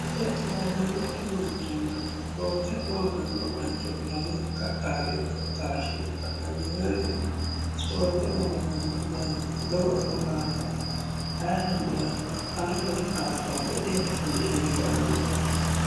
ispoorte noosanokki manchonna ispoorte loosanno mancho lamenka dhaadinse taashshine la'nanniwoyiite ispoorte loosanno manchi lowo dhukaamoti ayiireno duhanno ha'reno didaafuranno dodeno disheengaranno yaate